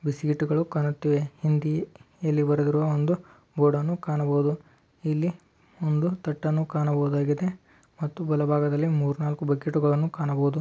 Seat ಗಳು ಕಾಣುತ್ತಿವೆ. ಹಿಂದಿ ಇಲ್ ಬರದ್ರು ಒಂದು ಬೋರ್ಡ್ ಅನ್ನು ಕಾಣಬಹುದು. ಇಲ್ಲಿ ಒಂದು ತಟ್ಟನ್ನು ಕಾಣಬಹುದಾಗಿದೆ. ಮತ್ತು ಬಲಬಾಗದಲ್ಲಿ ಮೂರ್ ನಾಲ್ಕು ಬಕೆಟ್ ಗಳನ್ನೂ ಕಾಣಬಹುದು.